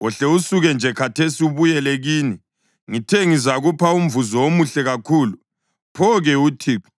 Wohle usuke nje khathesi ubuyele kini! Ngithe ngizakupha umvuzo omuhle kakhulu, pho-ke uThixo